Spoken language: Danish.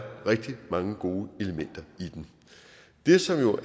rigtig mange gode elementer i den det som jo